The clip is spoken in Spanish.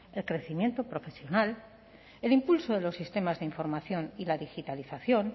el crecimiento profesional el impulso de los sistemas de información y la digitalización